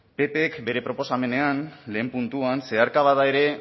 ppk bere proposamenean lehen puntuan zeharka bada ere